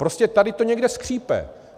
Prostě tady to někde skřípe.